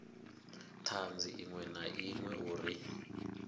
thanzi iṅwe na iṅwe uri